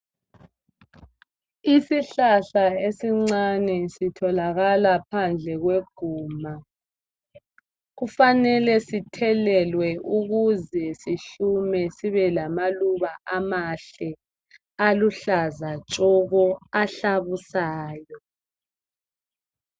Isihlahla esincane sitholakala phandle kweguma. Kufanele sithelelwe ukuze sihlume sibe lamaluba amahle aluhlaza tshoko ahlabusayo.